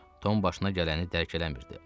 Tom başına gələni dərk eləmirdi.